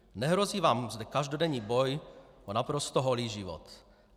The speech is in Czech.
Nehrozí vám zde každodenní boj o naprosto holý život.